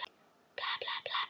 Við töluðum heilmikið um þetta.